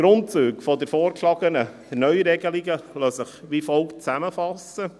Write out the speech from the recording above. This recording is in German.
Die Grundzüge der vorgeschlagenen Neuregelungen lassen sich wie folgt zusammenfassen: